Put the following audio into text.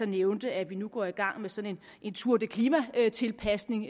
nævnte at vi nu går i gang med sådan en tour de klimatilpasning